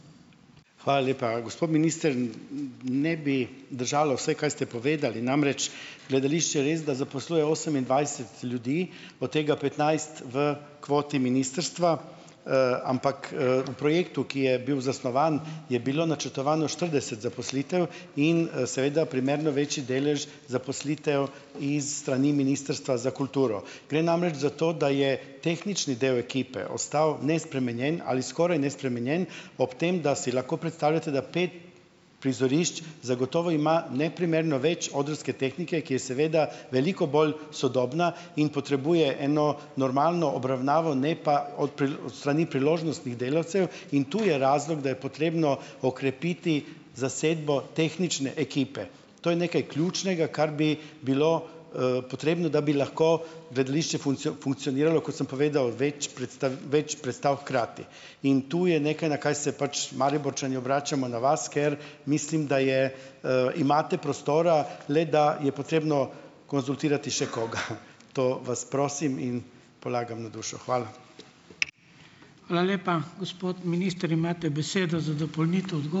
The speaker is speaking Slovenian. Hvala lepa. Gospod minister, ne bi držalo vse, kaj ste povedali. Namreč gledališče resda zaposluje osemindvajset ljudi, o tega petnajst v kvoti ministrstva, ampak, na projektu, ki je bil zasnovan, je bilo načrtovano štirideset zaposlitev in seveda primerno večji delež zaposlitev iz strani Ministrstva za kulturo. Gre namreč za to, da je tehnični del ekipe ostal nespremenjen ali skoraj nespremenjen ob tem, da si lahko predstavljate, da pet prizorišč zagotovo ima neprimerno več odrske tehnike, ki je seveda veliko bolj sodobna in potrebuje eno normalno obravnavo, ne pa s strani priložnostnih delavcev, in tu je razlog, da je potrebno okrepiti zasedbo tehnične ekipe. To je nekaj ključnega, kar bi bilo, potrebno, da bi lahko gledališče funkcioniralo, kot sem povedal, več predstav, več predstav hkrati. In tu je nekaj, na kaj se pač Mariborčani obračamo na vas, ker mislim, da je, imate prostora, le da je potrebno konzultirati še koga. To vas prosim in polagam na dušo. Hvala.